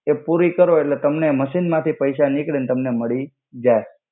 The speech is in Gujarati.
એ પુરી કરો એટ્લે તમને મસિન માથી પૈસા નિકડી તમને મડી જાઇ